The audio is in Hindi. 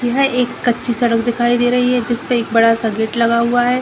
यह एक कच्ची सड़क दिखाई दे रही है। जिसपे एक बड़ा सा गेट लगा हुआ है।